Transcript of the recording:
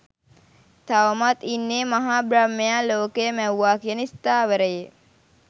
තවමත් ඉන්නේ මහා බ්‍රහ්මයා ලෝකය මැව්වා කියන ස්ථාවරයේ